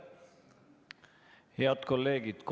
Head kolleegid!